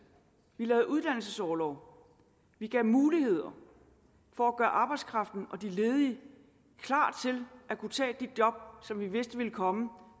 vi lavede uddannelsesorlov vi gav muligheder for at gøre arbejdskraften og de ledige klar til at kunne tage de job som vi vidste ville komme